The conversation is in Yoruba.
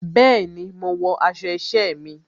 Bẹẹni, mo wọ aṣọ isẹ mi.